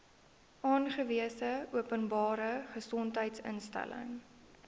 aangewese openbare gesondheidsinstelling